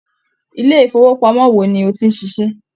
Ilé-ìfowópamọ́ wo ni o ti ń ṣiṣẹ́?